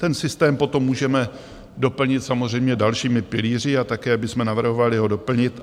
Ten systém potom můžeme doplnit samozřejmě dalšími pilíři a také bychom navrhovali ho doplnit.